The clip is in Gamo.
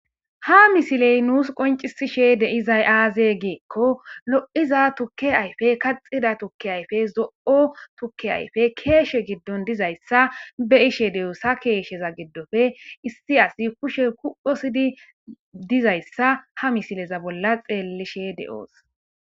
Ha missiley nussi qonccisishe deiizay aaze giiko loiiza tuuke ayffe kaxxida tuuke ayffe zo'o tuuke ayffey keshshe giidon diizayssa beishshe de'ossi ha keshsheza giidoppe issi assi kushshe kuphosiidi diizayssa ha missileza bolla xeelishe deoosi.